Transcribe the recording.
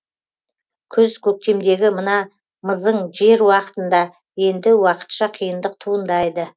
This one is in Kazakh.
күз көктемдегі мына мызың жер уақытында енді уақытша қиындық туындайды